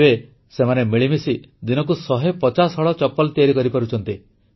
ଏବେ ସେମାନେ ମିଳିମିଶି ଦିନକୁ ଶହେପଚାଶ ହଳ ଚପଲ ତିଆରି କରିପାରୁଛନ୍ତି